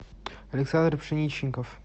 александр пшеничников